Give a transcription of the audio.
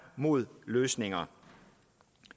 mod løsninger